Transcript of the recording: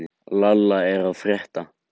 Lalli, hvað er að frétta?